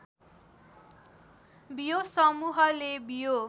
बियो समूहले बियो